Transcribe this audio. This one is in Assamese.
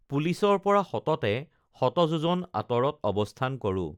পুলিচৰ পৰা সততে শতযোজন আঁতৰত অৱস্থান কৰোঁ